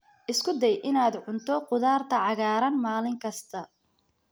Isku day inaad cunto khudaarta cagaaran maalin kasta.